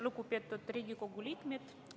Lugupeetud Riigikogu liikmed!